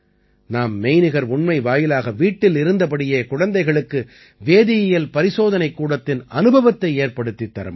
நாம் மெய்நிகர் உண்மை வாயிலாக வீட்டில் இருந்தபடியே குழந்தைகளுக்கு வேதியியல் பரிசோதனைக்கூடத்தின் அனுபவத்தை ஏற்படுத்தித் தர முடியும்